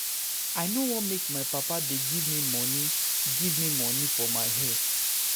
I no wan make my papa dey give me money give me money for my hair